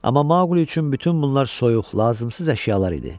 Amma Maqli üçün bütün bunlar soyuq, lazımsız əşyalar idi.